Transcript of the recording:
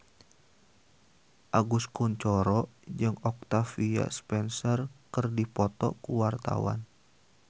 Agus Kuncoro jeung Octavia Spencer keur dipoto ku wartawan